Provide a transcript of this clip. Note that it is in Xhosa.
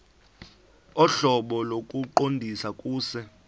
ohlobo lokuqondisa kuse